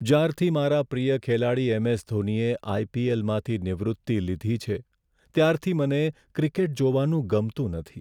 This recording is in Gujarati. જ્યારથી મારા પ્રિય ખેલાડી એમ.એસ. ધોનીએ આઈ.પી.એલ.માંથી નિવૃત્તિ લીધી છે, ત્યારથી મને ક્રિકેટ જોવાનું ગમતું નથી.